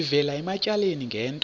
sivela ematyaleni ngento